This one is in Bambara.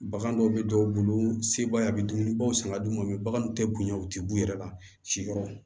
Bagan dɔw bɛ dɔw bolo sebaaya bɛ dumuni bɔ san ka d'u ma baganw tɛ bonya u tɛ b'u yɛrɛ la siyɔrɔ